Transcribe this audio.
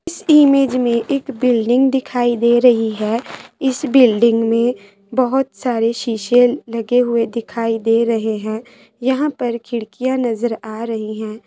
इस इमेज में बिल्डिंग दिखाई दे रही है इस बिल्डिंग में बहुत सारे शीशा लगे हुए दिखाई दे रहे हैं यहाँ पर खिड़किया नजर आ रहे हैं।